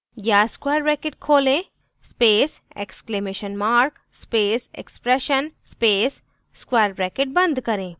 या square bracket खोलें space exclamation mark space expression space square bracket बंद करें